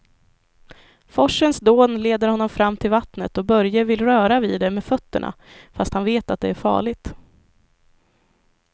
Forsens dån leder honom fram till vattnet och Börje vill röra vid det med fötterna, fast han vet att det är farligt.